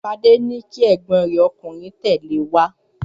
Fadé ní kí egbin rẹ ọkùnrin tẹ̀lé ẹ wá!